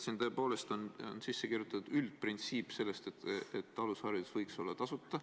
Siia on tõepoolest sisse kirjutatud üldprintsiip, et alusharidus võiks olla tasuta.